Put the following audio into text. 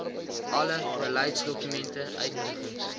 alle beleidsdokumente uitnodigings